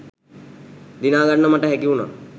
දිනාගන්න මට හැකිවුණා